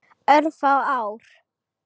Örfá ár.